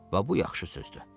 Va, bu yaxşı sözdür.